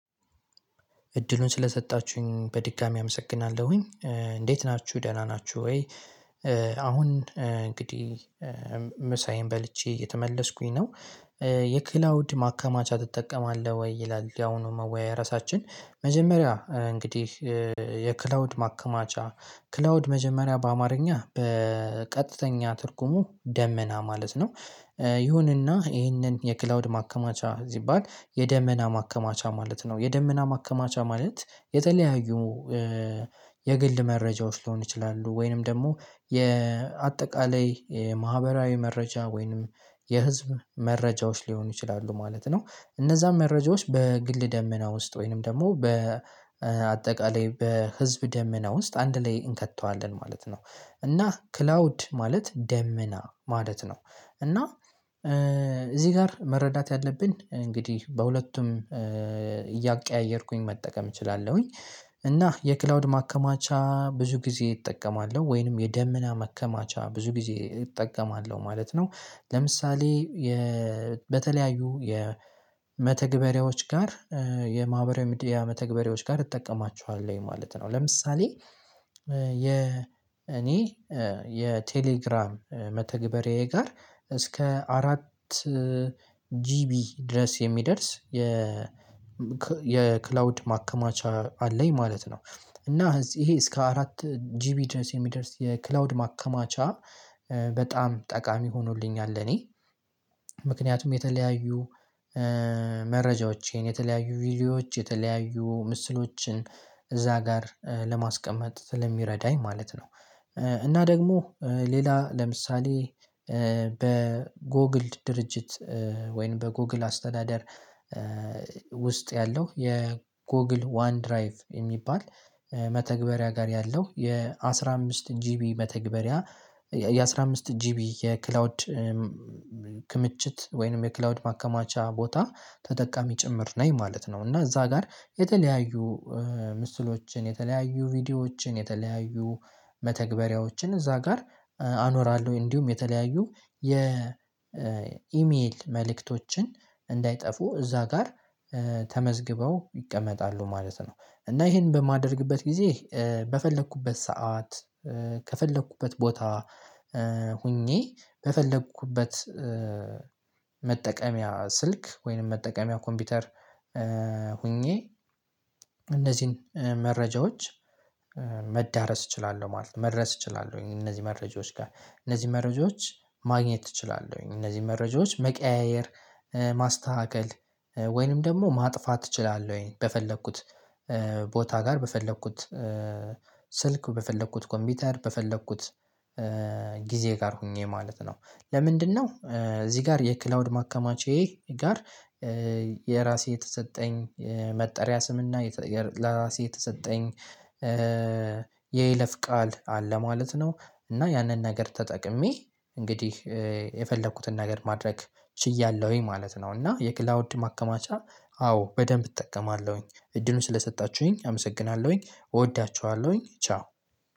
እድሉን ስለሰጣችሁኝ በድጋሚ አመሰግናለሁኝ እንዴት ናችሁ ደህና ናችሁ ወይ? አሁን እንግዲህ ምሳዬን በልቼ እየተመለስኩኝ ነው። የክላውድ ማከማቻ ትጠቀማለህ ወይ? ይላል የአሁኑ መወያየር ርዕሳችን መጀመሪያ እንግዲህ የክላውድ ማከማቻ ክላውድ መጀመሪያ በአማርኛ በቀጥተኛ ትርጉሙ ደመና ማለት ነው። ይሁንና ይሄንን የክላውድ ማከማቻ ሲባል የደመና ማከማቻ ማለት ነው የደመና ማከማቻ ማለት የተለያዩ የግል መረጃዎች ሊሆን ይችላሉ ወይንም ደግሞ የአጠቃላይ የማህበራዊ መረጃ ወይንም የህዝብ መረጃዎች ሊሆኑ ይችላሉ ማለት ነው። እነዛን መረጃዎች በግል ደመና ውስጥ ወይንም ደግሞ በአጠቃላይ በህዝብ ደመና ውስጥ አንድ ላይ እንከተዋለን ማለት ነው። እና ክላውድ ማለት ደመና ማለት ነው። እና እዚህ ጋር መረዳት ያለብን እንግዲህ በሁለቱም እያቀያየርኩኝ መጠቀም እችላለሁኝ። እና የክላውድ ማከማቻ ብዙ ጊዜ እጠቀማለሁ ወይንም የደመና መከማቻ ብዙ ጊዜ እጠቀማለሁ ማለት ነው። ለምሳሌ የ በተለያዩ የመተግበሪያዎች ጋር የማህበራዊ ሚዲያ መተግበሪያዎች ጋር እጠቀማቸኋለሁ ማለት ነው። ለምሳሌ የ እኔ የቴሌግራም መተግበርዬ ጋር እስከ አራት ጂቢ ድረስ የሚደርስ የ የክላውድ ማከማቻ አለኝ ማለት ነው። እና እዚህ ይሄ እስከ አራት ጂቢ ድረስ የሚደርስ የክላውድ ማከማቻ በጣም ጠቃሚ ሆኖልኛል እኔ ምክንያቱም የተለያዩ መረጃዎቼን የተለያዩ ቪዲዮዎች የተለያዩ ምስሎችን እዛ ጋር ለማስቀመጥ ስለሚረዳኝ ማለት ነው። እና ደግሞ ሌላ ለምሳሌ በጎግል ድርጅት ወይም በጎግል አስተዳደር ውስጥ ያለው የጎግል ዋን ድራይቭ የሚባል መተግበሪያ ጋር ያለው የአስራ አምስት ጂቢ መተግበሪያ የአስራ አምስት ጂቢ የክላውድ ክምችት ወይንም የክላውድ ማከማቻ ቦታ ተጠቃሚ ጭምር ነኝ ማለት ነው። እና እዛ ጋር የተለያዩ ምስሎችን የተለያዩ ቪዲዮዎችን የተለያዩ መተግበሪያዎችን እዛ ጋር አኖራለሁ እንዲሁም የተለያዩ የኢሜይል መልእክቶችን እንዳይጠፉ እዛ ጋር ተመዝግበው ይቀመጣሉ ማለት ነው። እና ይሄን በማደርግበት ጊዜ በፈለኩበት ሰዓት ከፈለኩበት ቦታ ሆኜ በፈለኩበት መጠቀሚያ ስልክ ወይንም መጠቀሚያ ኮምፒውተር ሆኜ እነዚህን መረጃዎች መዳረስ እችላለሁ ማለት ነው። መድረስ እችላለሁኝ እነዚህ መረጃዎች ጋር እነዚህ መረጃዎች ማግኘት እችላለሁኝ እነዚህ መረጃዎች መቀያየር ማስተካከል ወይንም ደግሞ ማጥፋት እችላለሁኝ በፈለኩት ቦታ ጋር በፈለኩት ስልክ በፈለኩት ኮምፒውተር በፈለኩት ጊዜ ጋር ሆኜ ማለት ነው። ለምንድነው? እዚህ ጋር የክላውድ ማከማቼ ጋር የራሴ የተሰጠኝ መጠሪያ ስምና ለራሴ የተሰጠኝ የይለፍ ቃል አለ ማለት ነው። እና ያንን ነገር ተጠቅሜ እንግዲህ የፈለኩትን ነገር ማድረግ ችያለሁኝ ማለት ነው። እና የክላውድ ማከማቻ አዎ በደንብ እጠቀማለሁኝ እድሉን ስለሰጣችሁኝ አመሰግናለሁኝ እወዳችኋለሁኝ ቻው